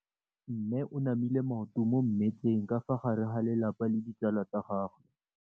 Mme o namile maoto mo mmetseng ka fa gare ga lelapa le ditsala tsa gagwe.